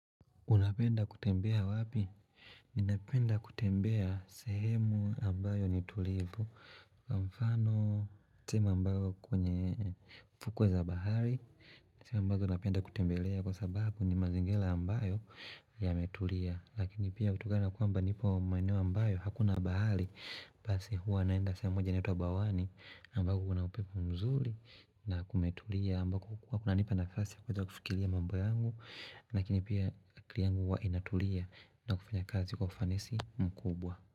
Unapenda kutembea wapi? Ninapenda kutembea sehemu ambayo ni tulivu. Kwa mfano, sehemu ambayo kwenye fukwe za bahari. Ni sehemu ambazo napenda kutembelea kwa sababu ni mazingira ambayo yametulia. Lakini pia kutokana na kwamba nipo maeneo ambayo hakuna bahari. Basi huwa naenda sehemu moja inaitwa bawani ambayo kuna upepo mzurina kumetulia. Mbako huku hakuna nipa nafasi ya kuja kufikiria mambo yangu. Lakini pia akili yangu huwa inatulia na kufanya kazi kwa ufanisi mkubwa.